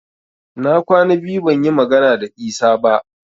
Na kwana biyu ban yi magana da Isa ba